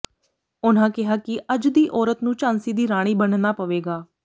ਉਨ੍ਹਾਂ ਕਿਹਾ ਕਿ ਅੱਜ ਦੀ ਔਰਤ ਨੂੰ ਝਾਂਸੀ ਦੀ ਰਾਣੀ ਬਣਨਾ ਪਵੇਗਾ